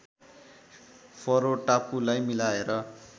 furrow टापुलाई मिलाएर